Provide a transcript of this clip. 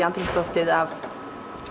andrúmsloftið af